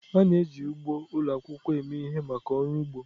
A na-eji ugbo ụlọ akwụkwọ eme ihe maka ọrụ ugbo.